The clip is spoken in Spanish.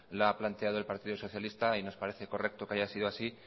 la ha planteado el partido socialista y nos parece correcto que haya sido así